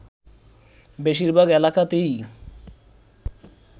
বেশিরভাগ এলাকাতেই